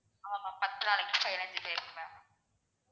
ஆமா. பத்து நாளைக்கு, பதினைஞ்சு பேருக்கு ma'am